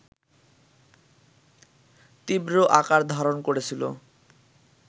তীব্র আকার ধারণ করেছিল